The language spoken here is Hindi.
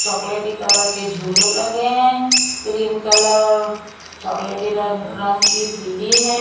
चॉकलेटी कलर के झूले लगे हैं क्रीम कलर और चॉकलेटी रंग की सीढ़ी है।